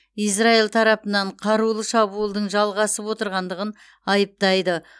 израиль тарапынан қарулы шабуылдың жалғасып отырғандығын айыптайды